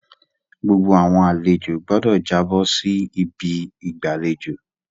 Gbogbo àwọn àlejo gbọdọ jàbo si ibi igbalejo